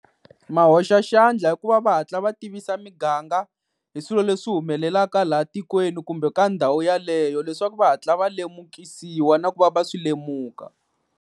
Ma hoxa xandla hikuva va hatla va tivisa miganga hi swilo leswi humelelaka laha tikweni kumbe ka ndhawu yaleyo, leswaku va hatla va lemukisiwi na ku va va swi lemuka.